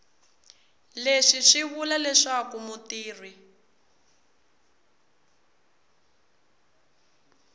leswi swi vula leswaku mutirhi